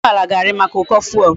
Ego ugboala ga ari maka uko fuel